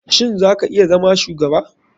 Shin za ka iya zama shugaba?